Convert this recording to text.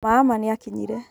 maama nĩ akinyire